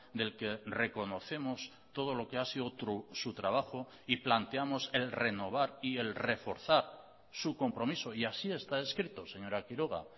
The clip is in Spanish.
del que reconocemos todo lo que ha sido su trabajo y planteamos el renovar y el reforzar su compromiso y así está escrito señora quiroga